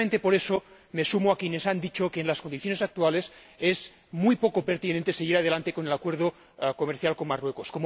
Y, precisamente por eso, me sumo a quienes han dicho que, en las condiciones actuales, es muy poco pertinente seguir adelante con el Acuerdo comercial con Marruecos.